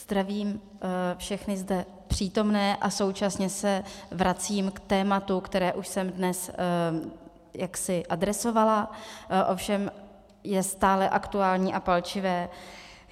Zdravím všechny zde přítomné a současně se vracím k tématu, které už jsem dnes jaksi adresovala, ovšem je stále aktuální a palčivé.